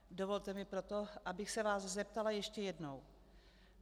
Dovolte mi proto, abych se vás zeptala ještě jednou.